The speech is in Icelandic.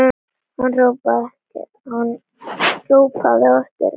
Hann hrópaði á eftir okkur.